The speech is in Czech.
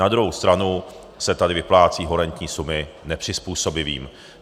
Na druhou stranu se tady vyplácejí horentní sumy nepřizpůsobivým.